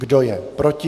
Kdo je proti?